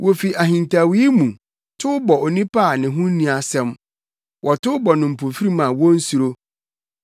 Wofi ahintawee mu, tow bɔ onipa a ne ho nni asɛm; wɔtow bɔ no mpofirim a wonsuro.